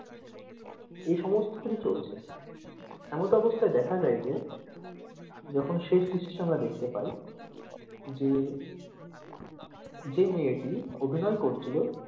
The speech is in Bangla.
এ সমস্ত করে চলছে এমতা অবস্থায় দেখা যায় যে যখন শেষ দৃশ্য আমরা দেখতে পাই যে যে মেয়েটি অভিনয় করছিলো,